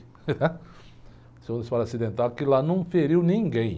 Aconteceu um disparo acidental, que lá não feriu ninguém.